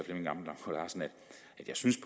jeg synes